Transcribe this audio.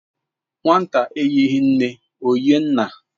Nwata eyighi nne, ọ yịe nna